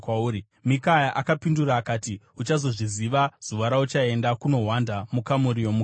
Mikaya akapindura akati, “Uchazozviziva zuva rauchaenda kunohwanda mukamuri yomukati.”